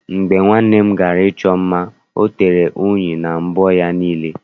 Mgbe nwanne m gara ịchọ mma, ọ tere uri na mbọ ya niile.